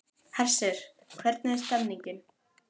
Hersir, hvernig er stemningin?